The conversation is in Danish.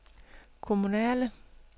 kommunale